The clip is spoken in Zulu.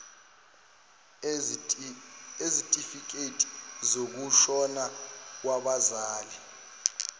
ezitifiketi zokushona kwabazali